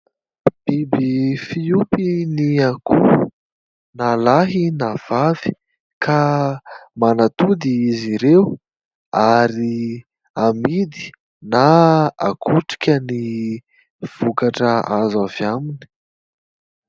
Biby fiompy ny akoho na lahy na vavy ka manatody izy ireo ary hamidy na hakotrika ny vokatra azo avy aminy.